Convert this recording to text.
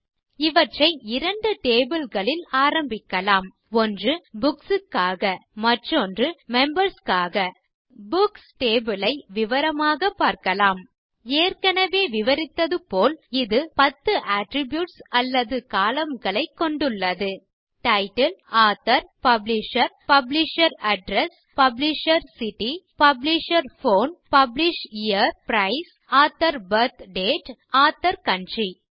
எனவே இவற்றை இரண்டு tableகளில் ஆரம்பிக்கலாம் ஒன்று புக்ஸ் க்காக மற்றொன்று மெம்பர்ஸ் க்காக புக்ஸ் டேபிள் ஐ விவரமாக பார்க்கலாம் ஏற்கனவே விவரித்தது போல் இது 10 அட்ரிபியூட்ஸ் அல்லது columnகளைக் கொண்டுள்ளது title author publisher publisher address publisher city publisher phone publisher price author birth date மற்றும் அதார்கவுண்ட்ரி